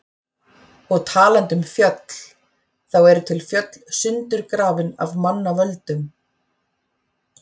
Og talandi um fjöll, þá eru til fjöll sundurgrafin af manna völdum.